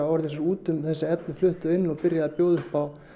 orðið sér út um þessi efni flutt þau inn og byrjað að bjóða upp á